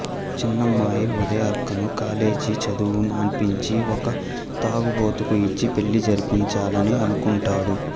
చిన్నమ్మాయి ఉదయార్కను కాలేజీ చదువు మానిపించి ఒక తాగుబోతుకు ఇచ్చి పెళ్లి జరిపించాలని అనుకుంటాడు